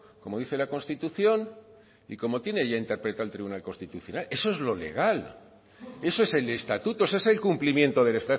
como dice la constitución y como tiene ya interpretado el tribunal constitucional eso es lo legal eso es el estatuto ese el cumplimiento del